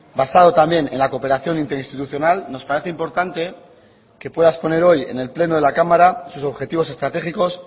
basado también en la cooperación interinstitucional nos parece importante que pueda exponer hoy en el pleno de la cámara sus objetivos estratégicos